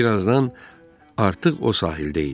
Bir azdan artıq o sahildə idi.